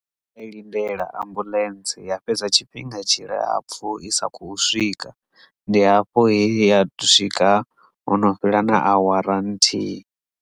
Ndo i lindela ambuḽentse ya fhedza tshifhinga tshilapfhu i sa kho swika ndi hafho he ya swika hono fhela na awara nthihi.